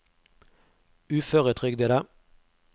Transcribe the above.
uføretrygdede